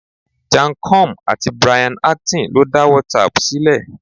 Jan Koum àti Brian Acton lo da WhatsApp ṣílẹ̀.